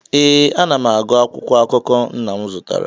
ee, m na-agụ akwụkwọ akụkọ nna m zụtara